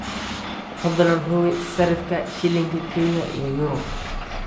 fadlan hubi sarifka shilinka kenya iyo euro